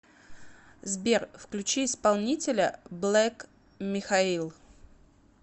сбер включи исполнителя блэк михаил